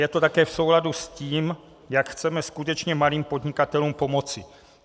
Je to také v souladu s tím, jak chceme skutečně malým podnikatelům pomoci.